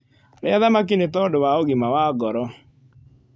Rĩa thamakĩ nĩtondũ wa ũgima wa ngoro